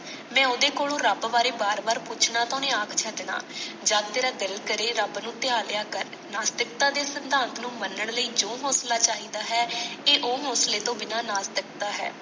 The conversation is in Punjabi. ਮੈਂ ਓਹਦੇ ਕੋਲੋਂ ਰੱਬ ਬਾਰੇ ਬਾਰ ਬਾਰ ਪੁੱਛਣਾ ਤਾਂ ਓਹਨੇ ਆਖ ਛੱਡਣਾ, ਜਦ ਤੇਰਾ ਦਿਲ ਕਰੇ ਰੱਬ ਨੂੰ ਧਿਆ ਲਿਆ ਕਰ, ਨਾਸਤਿਕਤਾ ਦੇ ਸਿਧਾਂਤ ਨੂੰ ਮੰਨਣ ਲਈ ਜੋ ਹੋਂਸਲਾ ਚਾਹੀਦਾ ਹੈ ਇਹ ਉਹ ਹੋਂਸਲੇ ਤੋਂ ਬਿਨਾ ਨਾਸਤਿਕਤਾ ਹੈ।